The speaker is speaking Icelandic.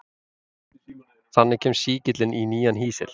Þannig kemst sýkillinn í nýjan hýsil.